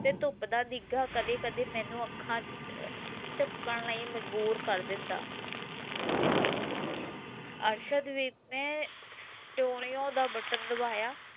ਤੇ ਧੁੱਪ ਦਾ ਨਿੱਘ ਕਦੇ ਕਦੇ ਮੈਨੂੰ ਅੱਖਾਂ ਝਮਕਣ ਲਈ ਮਜ਼ਬੂਰ ਕਰ ਦਿੰਦਾ ਅਰਸਦ ਵੀ ਮੈਂ ਦਾ button ਦਬਾਇਆ